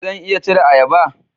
Zan iya cire ayaba?